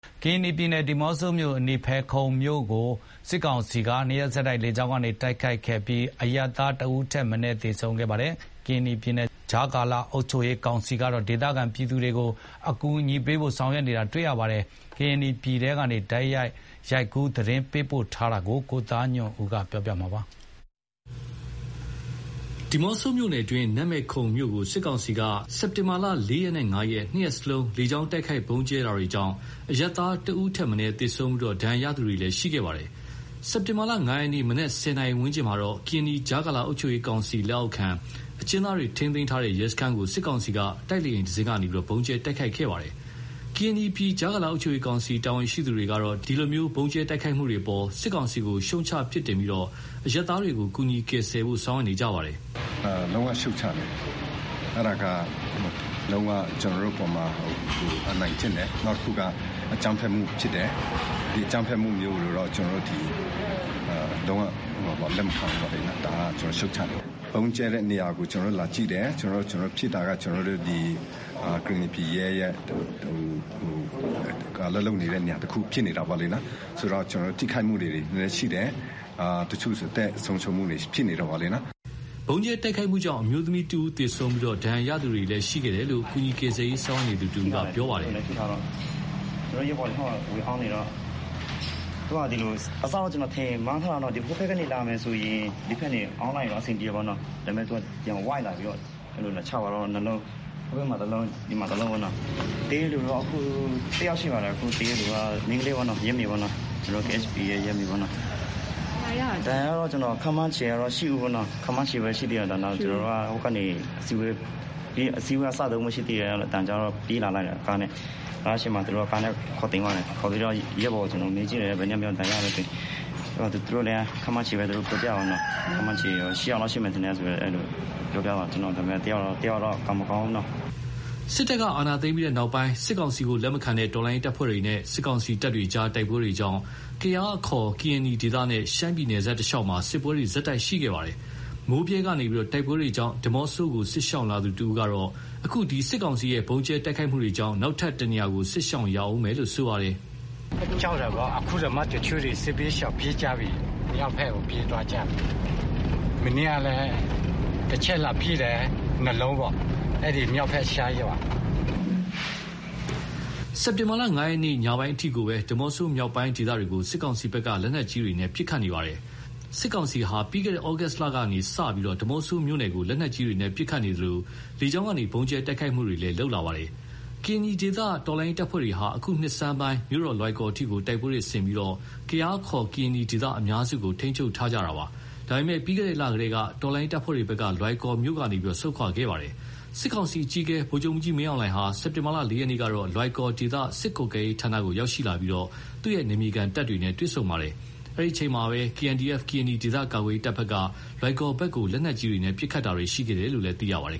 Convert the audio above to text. ကရင်နီပြည် ဒီးမော့ဆိုမြို့အနီး နန်းမယ်ခုံမြို့ကို စစ်ကောင်စီက နှစ်ရက်ဆက်တိုက်လေကြောင်းကနေ တိုက်ခိုက်ခဲ့ပြီး အရပ်သား တဦးထက် မနည်း သေဆုံးခဲ့ပါတယ်။ ကရင်နီပြည် ကြားကာလအုပ်ချုပ်ရေးကောင်စီကတော့ ဒေသခံပြည်သူတွေကို အကူအညီပေးဖို့ ဆောင်ရွက်နေကြတာ တွေ့ရပါတယ်။ ကရင်နီပြည်ထဲကနေ တိုက်ရိုက် ရိုက်ကူး သတင်းပေးပို့ထားတာကို ကိုသားညွန့်ဦးက တင်ပြပေးထားပါတယ်။ ဒီးမော့ဆိုမြို့နယ်တွင်း နန်းမယ်ခုံမြို့ကို စစ်ကောင်စီက စက်တင်ဘာလ ၄ ရက်နဲ့ ၅ ရက် နှစ်ရက်စလုံး လေကြောင်းတိုက်ခိုက် ဗုံးကြဲတာတွေကြောင့် အရပ်သားတဦးထက်မနည်း သေဆုံးပြီး ဒဏ်ရာရသူတွေလည်း ရှိခဲ့ပါတယ်။ စက်တင်ဘာ ၅ ရက်နေ့ မနက် ၁၀ နာရီဝန်းကျင်မှာတော့ ကရင်နီ ကြားကာလအုပ်ချုပ်ရေးကောင်စီလက်အောက် အကျဉ်းသားတွေထိန်းသိမ်းထားတဲ့ ရဲစခန်းကို စစ်ကောင်စီ တိုက်လေယဉ်တစင်းက ဗုံးကြဲတိုက်ခိုက်ခဲ့တာပါ။ ကရင်နီပြည် ကြားကာလအုပ်ချုပ်ရေးကောင်စီ တာဝန်ရှိသူတွေကတော့ ဒီလို ဗုံးကြဲတိုက်ခိုက်တာတွေအပေါ် စစ်ကောင်စီကို ရှုတ်ချပြစ်တင်ပြီး အရပ်သားတွေကို ကူညီကယ်ဆယ်ဖို့ ဆောင်ရွက်နေကြပါတယ်။ “လုံးဝရှုတ်ချတယ်။ အဲဒါက လုံးဝ ကျနော်တို့အပေါ်မှာ အနိုင်ကျင့်တယ်။ နောက်တခုက အကြမ်းဖက်မှုဖြစ်တယ်။ ဒီအကြမ်းဖက်မှုမျိုးကိုတော့ လုံးဝလက်မခံဘူးလေ၊ ဒါကို ရှုတ်ချတယ်။ ဗုံးကြဲတဲ့နေရာကို ကျနော်တို့ လာကြည့်တယ်။ ဖြစ်တာက ကရင်နီပြည်ရဲ့ အလုပ်လုပ်နေတဲ့ နေရာတခုဖြစ်နေတာပေါ့လေ။ ဆိုတော့ ထိခိုက်မှုတွေ နည်းနည်း ရှိတယ်။ တချို့ဆို အသက်ဆုံးရှုံးမှုတွေ ရှိနေတယ်ပေါ့လေ၊ နော်။” ဗုံးကြဲတိုက်ခိုက်မှုကြောင့် အမျိုးသမီးတဦးသေဆုံးပြီး ဒဏ်ရာရသူတွေလည်း ရှိခဲ့တယ်လို့ ကူညီကယ်ဆယ်ရေးဆောင်ရွက်နေသူတဦးကလည်း ပြောပါတယ်။ “ကျနော်တို့ရဲဘော်တွေ ဟိုးမှာ ဝင်အောင်းနေတော့ အစက ဒီလို..ဟိုဘက်ကနေလာရင် ဒီဘက်ကနေ အောင်းလိုက်ရင်တော့ အဆင်ပြေမယ်နော၊ ဒါပေမဲ့ သူက ဝိုက်လာပြီးတော့ လာချသွားတာ နှစ်လုံး၊ ဟိုမှာတလုံး၊ ဒီမှာတလုံးပေါ့နော။ သေတဲ့လူက အခု (၁) ယောက်ရှိမှာပါတယ်။ မိန်းကလေး ရဲမေပေ့ါနော၊ ကျနော်တို့ KSP ကရဲမေပေ့ါနော၊ ဒဏ်ရာရာသူကတော့ ခန့်မှန်းခြေကတော့ ၈ ဦး ပေါ့နော်၊ ခန့်မှန်းခြေပဲ ရှိသေးတယ်။ အစည်းအဝေးက စတုန်းပဲရှိသေးတယ်၊ အသံကြားတော့ ပြေးလာလိုက်တာ- ကားအရှေ့မှာ ခေါ်တင်သွားတယ်။ ခေါ်ပြီးတော့ ရဲဘော်တွေကိုမေးကြည့်တယ်၊ ဘယ်နှစ်ယောက်များ ဒဏ်ရာရသလဲဆိုတာ။ သူတို့တွေက ခန့်မှန်းခြေပဲ ပြောပြတယ်၊ ခန့်မှန်းခြေ ၈ ယောက်လောက်ရှိမယ်ထင်တယ်လို့ ပြောပြတာပေ့ါနော။ တယောက်လောက်ကတော့ ကံမကောင်းဘူးနော။” စစ်တပ်က အာဏာသိမ်းပြီးတဲ့နောက် စစ်ကောင်စီကလက်မခံတဲ့ တော်လှန်ရေးတပ်ဖွဲ့တွေနဲ့ စစ်ကောင်စီတပ်တွေကြားတိုက်ပွဲတွေကြောင့် ကယား ခေါ် ကရင်နီနဲ့ ရှမ်းပြည်နယ်စပ်တလျှောက်မှာ စစ်ပွဲတွေ ဆက်တိုက်ရှိခဲ့ပါတယ်။ မိုးဗြဲကနေ တိုက်ပွဲတွေကြောင့် ဒီးမော့ဆိုကို စစ်ရှောင်လာသူတဦးကတော့ အခု စစ်ကောင်စီရဲ့ဗုံးကြဲတိုက်ခိုက်မှုတွေကြောင့် နောက်ထပ်တနေရာ စစ်ရှောင်ရဦးမယ်လို့ ပြောပါတယ်။ “စစ်ရှောင်တာပေါ့။ တချို့တွေ အခုတောင်မှ စစ်ဘေးရှောင်ပြေးကြပြီ။ မြောက်ဘက်ကို ပြေးသွားကြပြီ။ မနေ့ကလည်း တချက်လာပစ်တယ်၊ နှစ်လုံးပေါ့။ အဲဒီ မြောက်ဘက်ရှမ်းရွာ။” အခု စက်တင်ဘာ ၅ ရက်နေ့ ညပိုင်းအထိကိုပဲ ဒီးမော့ဆိုမြောက်ပိုင်းဒေသတွေကို စစ်ကောင်စီဘက်က လက်နက်ကြီးတွေနဲ့ ပစ်ခတ်နေ ပါတယ်။ စစ်ကောင်စီဟာ ပြီးခဲ့တဲ့ ဩဂုတ်လကနေစလို့ ဒီးမော့ဆိုမြို့နယ်ကို လက်နက်ကြီးတွေနဲ့ ပစ်ခတ်နေသလို လေကြောင်းကနေ ဗုံးကြဲတိုက်ခိုက်တာတွေလည်းလုပ်လာတာပါ။ ကရင်နီဒေသ တော်လှန်ရေးတပ်ဖွဲ့တွေဟာ အခုနှစ်ဆန်းပိုင်း မြို့တော်လွိုင်ကော်အထိ တိုက်ပွဲတွေဆင်ပြီး ကယား အခေါ် ကရင်နီဒေသအများစုကို ထိန်းချုပ်ထားကြတာပါ။ ဒါပေမယ့် ပြီးခဲ့တဲ့လကတည်းက တော်လှန်ရေးတပ်ဖွဲ့ တွေက လွိုင်ကော်ကနေ ဆုတ်ခွာခဲ့ပါတယ်။ စစ်ကောင်စီအကြီးအကဲ ဗိုလ်ချုပ်မှူးကြီးမင်းအောင်လှိုင်ဟာ စက်တင်ဘာလ ၄ ရက်နေ့ကတော့ လွိုင်ကော် ဒေသစစ်ကွပ်ကဲရေးဌာနကို ရောက်ရှိလာပြီး နယ်မြေခံတပ်တွေနဲ့ တွေ့ဆုံပါတယ်။ အဲဒီအချိန်မှာပဲ KNDF ကရင်နီ ဒေသကာကွယ်ရေးတပ်က လွိုင်ကော်ဘက်ကို လက်နက်ကြီးနဲ့ ပစ်ခတ်တာတွေရှိခဲ့တယ်လို့လည်း သိရပါတယ်